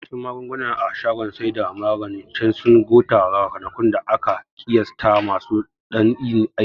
Yawancin magunguna a shagon saida maganin cen sun gota ranakun da aka ƙiyasata masu dan yin aiki